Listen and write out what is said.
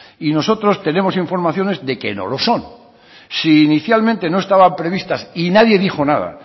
y nosotros tenemos informaciones de que no lo son si inicialmente no estaban previstas y nadie dijo nada